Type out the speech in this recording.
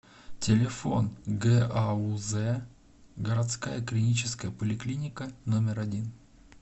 телефон гауз городская клиническая поликлиника номер один